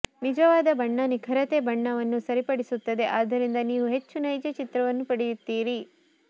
ನಿಜವಾದ ಬಣ್ಣ ನಿಖರತೆ ಬಣ್ಣವನ್ನು ಸರಿಪಡಿಸುತ್ತದೆ ಆದ್ದರಿಂದ ನೀವು ಹೆಚ್ಚು ನೈಜ ಚಿತ್ರವನ್ನು ಪಡೆಯುತ್ತೀರಿ